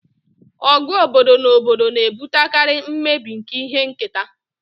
Ọgụ obodo na obodo na-ebutekarị mmebi nke ihe nketa